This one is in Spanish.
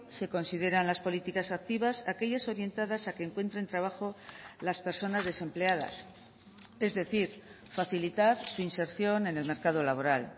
se consideran las políticas activas aquellas orientadas a que encuentren trabajo las personas desempleadas es decir facilitar su inserción en el mercado laboral